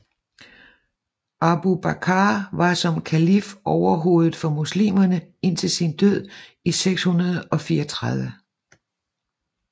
Abu Bakr var som kalif overhoved for muslimerne indtil sin død i 634